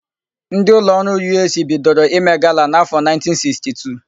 Ndị ụlọọrụ Yụeesii bidoro ime gala n'áfọ̀ 1962.